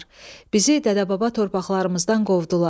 Bizi dədə-baba torpaqlarımızdan qovdular.